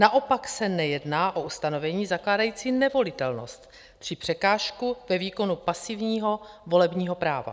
Naopak se nejedná o ustanovení zakládající nevolitelnost či překážku ve výkonu pasivního volebního práva."